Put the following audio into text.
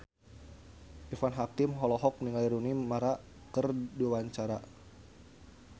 Irfan Hakim olohok ningali Rooney Mara keur diwawancara